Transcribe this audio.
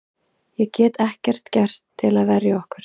Ég get ekkert gert til að verja okkur.